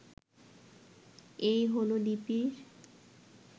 এই হলো লিপির